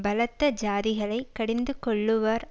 பலத்த ஜாதிகளைக் கடிந்து கொள்ளுவார்